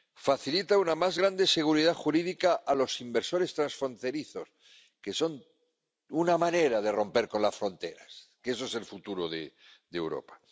Facilita una más grande seguridad jurídica a los inversores transfronterizos, que es una manera de romper con las fronteras, que es el futuro de Europa.